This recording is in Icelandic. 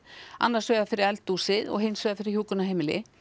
annars vegar fyrir eldhúsið og hins vegar fyrir hjúkrunarheimili